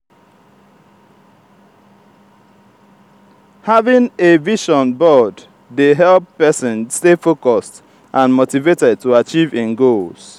having a vision board dey help pesin stay focused and motivated to achieve im goals.